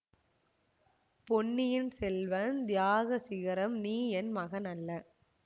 பொன்னியின் செல்வன்தியாக சிகரம்நீ என் மகன் அல்ல